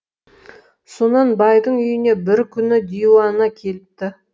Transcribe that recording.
сонан байдың үйіне бір күні диуана келіпті